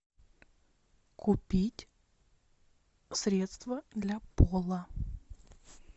купить средство для пола